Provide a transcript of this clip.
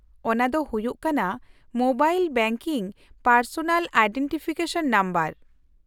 -ᱚᱱᱟ ᱫᱚ ᱦᱩᱭᱩᱜ ᱠᱟᱱᱟ mobile banking personal identification number.